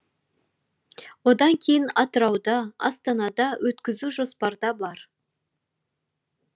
одан кейін атырауда астанада өткізу жоспарда бар